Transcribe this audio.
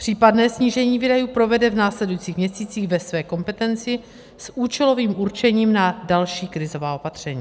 Případné snížení výdajů provede v následujících měsících ve své kompetenci s účelovým určením na další krizová opatření.